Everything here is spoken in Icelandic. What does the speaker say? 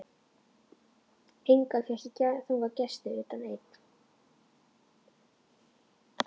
Enga fékk ég þangað gesti utan einn.